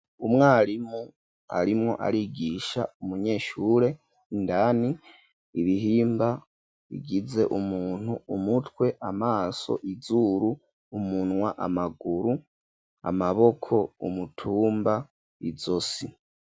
umwarimu arimwo arigisha umunyeshure indani ibihimba bigize umuntu umutwe amaso izuru umunwa amaguru amaboko umutumba izosi.